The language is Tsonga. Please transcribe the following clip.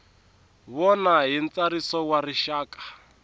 vona hi ntsariso wa rixaka